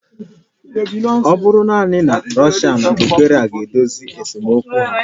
Ọ bụrụ naanị na Russia na Ukraine ga-edozi esemokwu ha